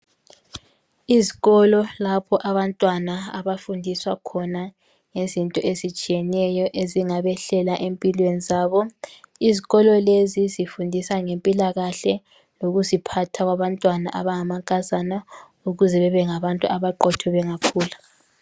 Izikolo lapho abantwana abafundiswa khona ngezinto ezitshiyeneyo ezingabehlela empilweni zabo. Izikolo lezi zifundisa ngempilakahle lokuziphatha kwabantwana abangamankazana ukuze bebe ngabantu abaqotho bengakhula.